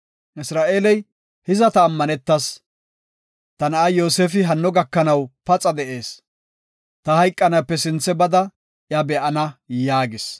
Isra7eeley, “Hiza ta ammanetas. Ta na7aa Yoosefi hanno gakanaw paxa de7ees. Ta hayqanaape sinthe bada iya be7ana” yaagis.